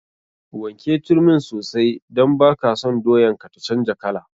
Wanke turmin sosai don baka son doyan ka ta canja kala.